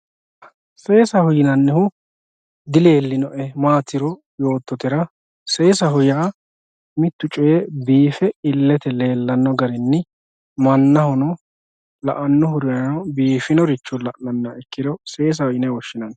Sesaho yinanihu dilelinoe matiro yototera sesaho ya mittu coyi bife ilete lelano garinni manahono laanohurano bifinoricha lananni ikkiro sesaho yine woshinanni